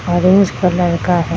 orange colour का ह --